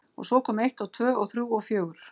Og svo kom eitt og tvö og þrjú og fjögur.